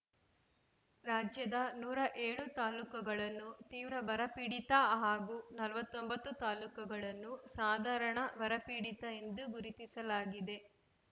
ರಾಜ್ಯದ ನೂರ ಏಳು ತಾಲ್ಲೂಕುಗಳನ್ನು ತೀವ್ರ ಬರಪೀಡಿತ ಹಾಗೂ ನಲವತ್ತೊಂಬತ್ತು ತಾಲ್ಲೂಕುಗಳನ್ನು ಸಾಧಾರಣ ಬರಪೀಡಿತ ಎಂದು ಗುರುತಿಸಲಾಗಿದೆ